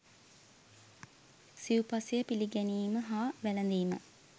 සිව් පසය පිළිගැනීම හා වැළඳීම